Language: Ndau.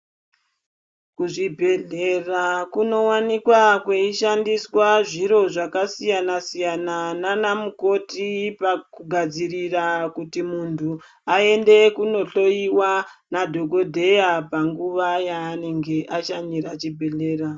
Kuchibhedhlera kunowanikwa kweishandiswa zviro zvakasiyana siyana nanamukoti pakugadzirira kuti muntu aende kunohloyiwa nadhogodheya panguva yaanenge ashanyira chibhedhlera.